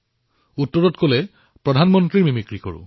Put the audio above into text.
তেতিয়া তেওঁ কলে যে মই প্ৰধানমন্ত্ৰীৰ মিমিক্ৰি কৰো